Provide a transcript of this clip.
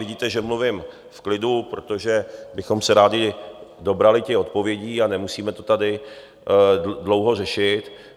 Vidíte, že mluvím v klidu, protože bychom se rádi dobrali těch odpovědí, a nemusíme to tady dlouho řešit.